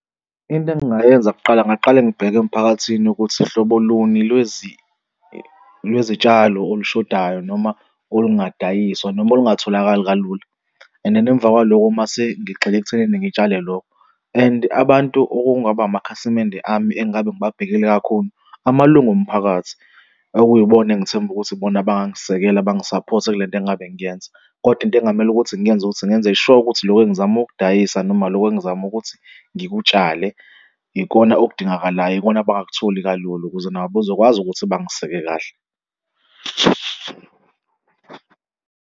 Into engingayenza kuqala ngaqale ngibheke emphakathini ukuthi hlobo luni lwezitshalo olushodayo noma olungadayiswa noma olungatholakali kalula. And then emva kwalokho mase ngigxile ekuthenini ngitshale lokho and abantu okungaba amakhasimende ami engabe ngibabhekile kakhulu amalunga omphakathi okuyibona engithemba ukuthi ibona abangangisekela, bangisaphothe kule nto engabe ngiyenza. Kodwa into engamele ukuthi ngiyenze ukuthi ngenze sure ukuthi lokho engizama ukukudayisa noma lokho engizama ukuthi ngikutshale ikona okudingakalayo ikona abangakutholi kalula ukuze nabo bezokwazi ukuthi bangeseke kahle.